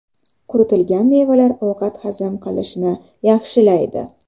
Quritilgan mevalar ovqat hazm qilishni yaxshilaydi.